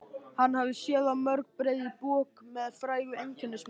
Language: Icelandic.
Hann hafði séð á mörg breið bök með frægu einkennismerki.